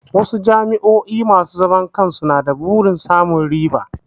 Wasu jami'o'i masu zaman kansu na da burin samun riba.